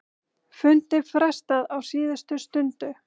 Fundi frestað á síðustu stundu